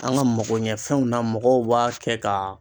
An ka magoɲɛfɛnw na mɔgɔw b'a kɛ ka